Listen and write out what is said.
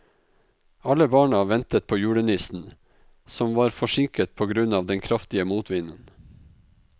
Alle barna ventet på julenissen, som var forsinket på grunn av den kraftige motvinden.